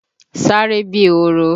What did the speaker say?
Sáré bíi ehoro!